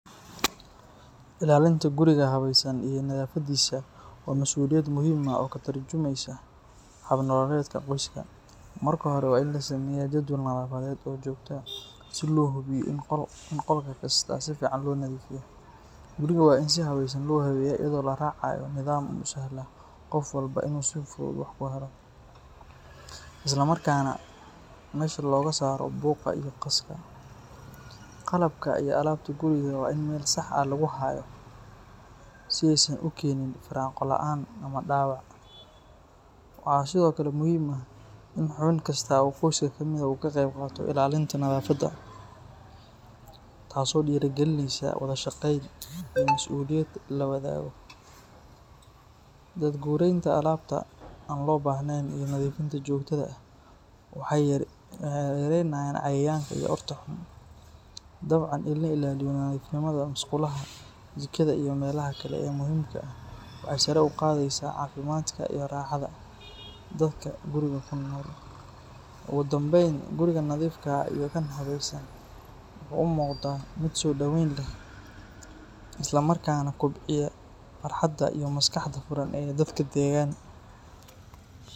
Ilaalinta guriga habaysan iyo nadaafadiisa waa mas’uuliyad muhiim ah oo ka tarjumaysa hab nololeedka qoyska. Marka hore, waa in la sameeyaa jadwal nadaafadeed oo joogto ah si loo hubiyo in qolka kasta si fiican loo nadiifiyo. Guriga waa in si habaysan loo habeeyaa iyadoo la raacayo nidaam u sahla qof walba inuu si fudud wax ku helo, islamarkaana meesha looga saaro buuqa iyo qaska. Qalabka iyo alaabta guriga waa in meel sax ah lagu hayo si aysan u keenin firaaqo la’aan ama dhaawac. Waxaa sidoo kale muhiim ah in xubin kasta oo qoyska ka mid ah uu ka qayb qaato ilaalinta nadaafadda, taasoo dhiirrigelinaysa wada shaqayn iyo mas’uuliyad la wadaago. Daad-gureynta alaabta aan loo baahnayn iyo nadiifinta joogtada ah waxay yareynayaan cayayaanka iyo urta xun. Dabcan, in la ilaaliyo nadiifnimada musqulaha, jikada, iyo meelaha kale ee muhiimka ah waxay sare u qaadaysaa caafimaadka iyo raaxada dadka guriga ku nool. Ugu dambayn, guriga nadiifka ah iyo kan habaysan wuxuu u muuqdaa mid soo dhaweyn leh, isla markaana kobciya farxadda iyo maskaxda furan ee dadka deggan.